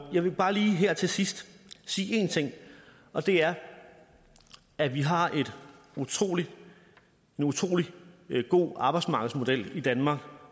jeg vil bare lige her til sidst sige én ting og det er at vi har en utrolig utrolig god arbejdsmarkedsmodel i danmark